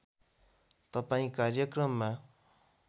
तपाईँ कार्यक्रममा